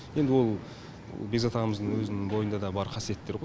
енді ол бекзат ағамыздың өзінің бойында да бар қасиеттер ғой